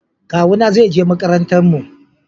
Kawu na zai je makarantar mu